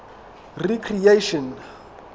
recreation